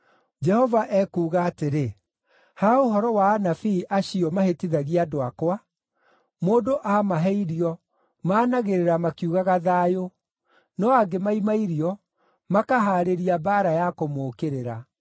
Jehova ekuuga atĩrĩ, “Ha ũhoro wa anabii acio mahĩtithagia andũ akwa, mũndũ aamahe irio, maanagĩrĩra makiugaga ‘thayũ,’ no angĩmaima irio, makahaarĩria mbaara ya kũmũũkĩrĩra.